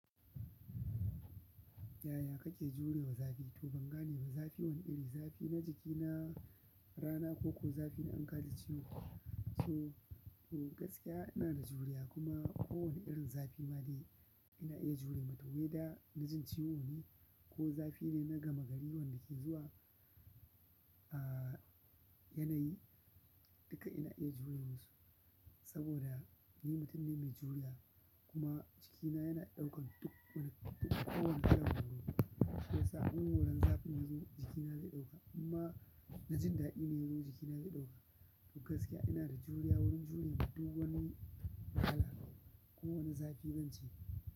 Yaya kake jurewa zafi? To ban gane ba, zafi wane iri, zafi na jiki, na rana koko zafi in ka ji ciwo? To, to gaskiya ina da juriya kuma kowane irin zafi ma dai ina iya jure mata. Wei da na jin ciwo ne ko zafi ne na gama gari wanda ke zuwa a yanayi, duka ina iya jure masu, saboda ni mutum ne mai juriya kuma jikina yana ɗaukan duk wani, duk kowane irin horo. Shi yasa a gun horon zafin ya zo jikina zai ɗauka. Amma na jin daɗi ne ko jikina zai ɗauka. To gaskiya ina da juriya, wurin jure ma duk wani wahala ko wane zafi zance.